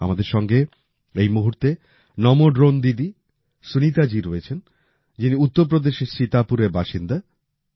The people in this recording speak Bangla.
আমাদের সঙ্গে এই মুহূর্তে নমো ড্রোন দিদি সুনীতা জি রয়েছেন যিনি উত্তরপ্রদেশের সীতাপুরের বাসিন্দা